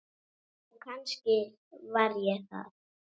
Og kannski var ég það.